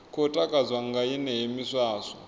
khou takadzwa nga yeneyo miswaswo